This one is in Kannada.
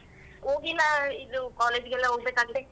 ಹೋಗಿಲ್ಲ ಇದು college ಗೆಲ್ಲ ಹೋಗ್ಬೇಕಾಗಿತ್ತು.